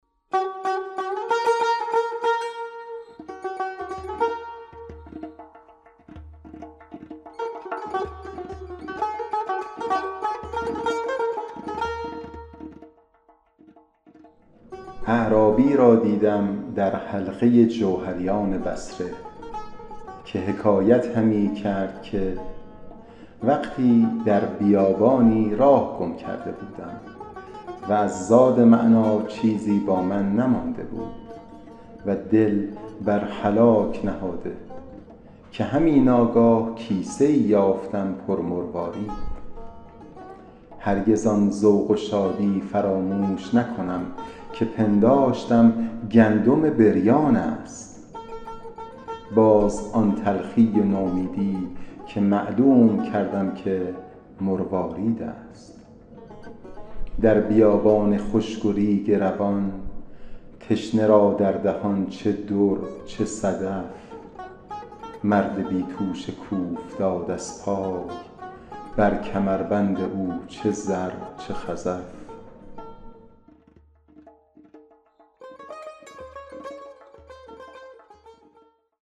اعرابی را دیدم در حلقه جوهریان بصره که حکایت همی کرد که وقتی در بیابانی راه گم کرده بودم و از زاد معنیٰ چیزی با من نمانده بود و دل بر هلاک نهاده که همی ناگاه کیسه ای یافتم پر مروارید هرگز آن ذوق و شادی فراموش نکنم که پنداشتم گندم بریان است باز آن تلخی و نومیدی که معلوم کردم که مروارید است در بیابان خشک و ریگ روان تشنه را در دهان چه در چه صدف مرد بی توشه کاوفتاد از پای بر کمربند او چه زر چه خزف